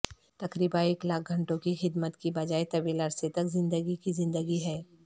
تقریبا ایک لاکھ گھنٹوں کی خدمت کی بجائے طویل عرصہ تک زندگی کی زندگی ہے